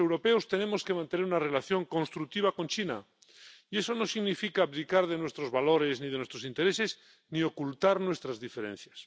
Los europeos tenemos que mantener una relación constructiva con China, y eso no significa abdicar de nuestros valores ni de nuestros intereses, ni ocultar nuestras diferencias.